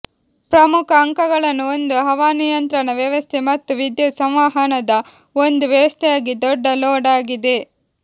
ಪ್ರಮುಖ ಅಂಕಗಳನ್ನು ಒಂದು ಹವಾನಿಯಂತ್ರಣ ವ್ಯವಸ್ಥೆ ಮತ್ತು ವಿದ್ಯುತ್ ಸಂವಹನದ ಒಂದು ವ್ಯವಸ್ಥೆಯಾಗಿ ದೊಡ್ಡ ಲೋಡ್ ಆಗಿದೆ